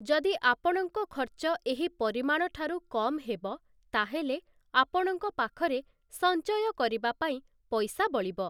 ଯଦି ଆପଣଙ୍କ ଖର୍ଚ୍ଚ ଏହି ପରିମାଣଠାରୁ କମ୍ ହେବ, ତାହେଲେ ଆପଣଙ୍କ ପାଖରେ ସଞ୍ଚୟ କରିବା ପାଇଁ ପଇସା ବଳିବ ।